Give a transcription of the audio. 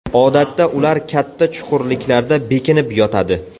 Odatda ular katta chuqurliklarda bekinib yotadi.